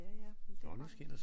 Ja ja men det